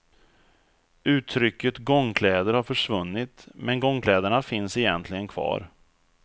Uttrycket gångkläder har försvunnit, men gångkläderna finns egentligen kvar.